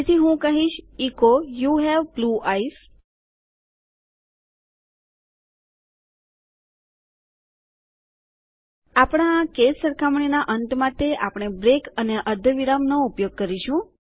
તેથી હું લખીશ એચો યુ હવે બ્લૂ આઇઝ આપણા આ કેસ સરખામણીના અંત માટે આપણે બ્રેક અને અર્ધવિરામનો ઉપયોગ કરીશું